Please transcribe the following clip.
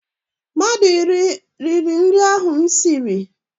Mmadụ iri riri nri ahụ m siri.